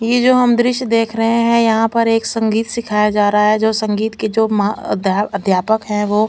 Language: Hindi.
ये जो हम द्श्य देख रहे है यहा पर एक संगीत सिखाया जा रहा है जो संगीत के जो मा अध्यापक है वो--